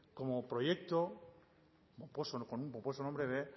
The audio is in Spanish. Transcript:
como proyecto con el pomposo nombre de